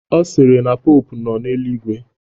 Ọ sịrị na popu nọ n'eluigwe